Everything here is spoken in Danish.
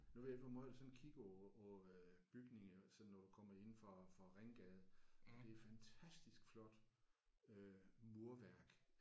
Nu ved jeg ikke hvor meget du sådan kigger på på øh bygningerne sådan når du kommer inde fra fra Ringgade det er fantastisk flot øh murværk